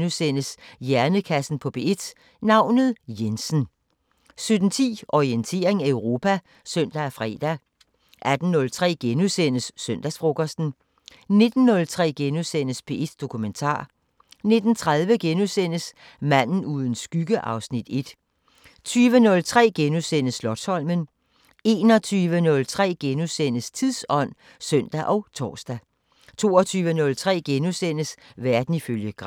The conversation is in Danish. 16:03: Hjernekassen på P1: Navnet Jensen * 17:10: Orientering Europa (søn og fre) 18:03: Søndagsfrokosten * 19:03: P1 Dokumentar * 19:30: Manden uden skygge (Afs. 1)* 20:03: Slotsholmen * 21:03: Tidsånd *(søn og tor) 22:03: Verden ifølge Gram *